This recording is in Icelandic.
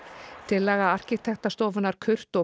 tillaga arkitektastofunnar